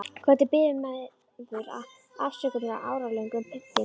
Hvernig biður maður afsökunar á áralöngum pyntingum?